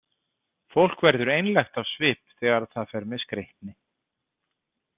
Fólk verður einlægt á svip þegar það fer með skreytni.